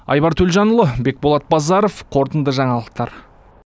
айбар төлжанұлы бекболат базаров қорытынды жаңалықтар